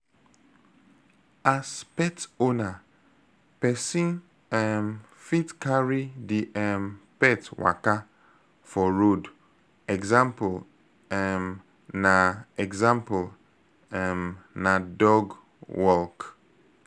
As pet owner, person um fit carry di um pet waka for road example um na example um na dog walk